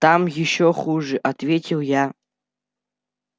там ещё хуже ответил я